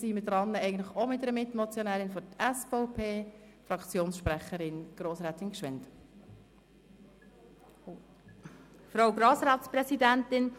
Wir sind bei einer weiteren Mitmotionärin, die für die SVP-Fraktion spricht.